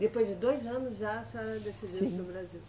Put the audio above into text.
Depois de dois anos já a senhora decidiu ir para o Brasil?